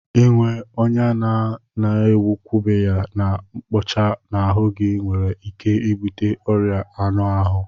Ịnwe ọnya a na-agwọbeghị na mkpụcha n'ahụ gị nwere ike ibute ọrịa anụ ahụ